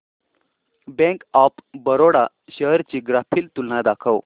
bank of Baroda shares ची graphical तुलना दाखव